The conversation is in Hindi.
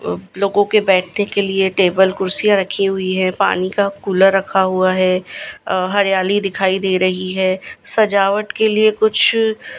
लोगों के बैठने के लिए टेबल कुर्सियां रखी गई हुई है पानी का कुलर रखा हुआ है अह हरियाली दिखाई दे रही है सजावट के लिए कुछ--